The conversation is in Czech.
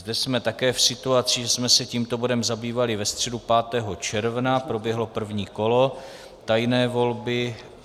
Zde jsme také v situaci, že jsme se tímto bodem zabývali ve středu 5. června, proběhlo první kolo tajné volby.